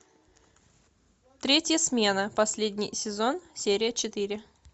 третья смена последний сезон серия четыре